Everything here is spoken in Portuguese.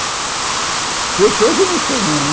Fosse hoje eu não sei não, né?